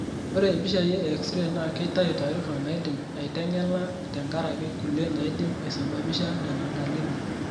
Ore impishai e X-ray naa keitayu taarifa naidimi aiteng'ela tenkaraki kulie naidim aisababisha nena dalili.